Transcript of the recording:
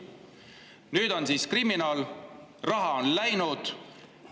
Nüüd ta on siis kriminaal, raha on läinud.